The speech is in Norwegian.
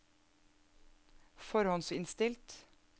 forhåndsinnstilt